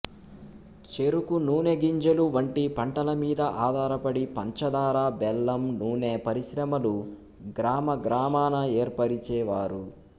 చెరుకు నూనెగింజలు వంటి పంటల మీద ఆధారపడి పంచదార బెల్లం నూనె పరిశ్రమలు గ్రామగ్రామాన ఏర్పరిచేవారు